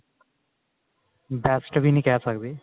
best ਵੀ ਨਹੀੰ ਕਿਹ ਸਕਦੇ